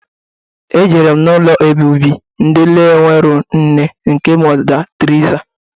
Ejere m na ụlọ obibi ndi na-enwerọ nne nke Mọda Teriza